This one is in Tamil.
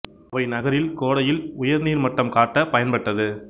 அவை நகரில் கோடையில் உயர் நீர் மட்டம் காட்ட பயன்பட்டது